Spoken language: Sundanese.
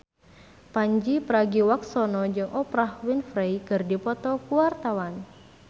Pandji Pragiwaksono jeung Oprah Winfrey keur dipoto ku wartawan